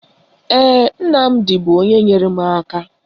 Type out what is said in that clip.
Ee, Nnamdi bụ onye nyere m aka